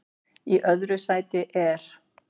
Í öðru sæti er